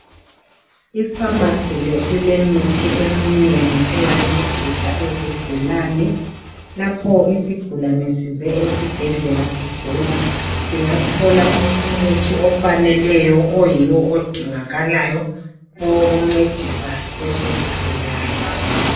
Ifamasi le ilemithi eminengi engancedisa izigulane. Lapho isigulane size esibhedlela sigula singathola umuthi ofaneleyo oyiwo odingakalayo owokuncedisa lesisigulane.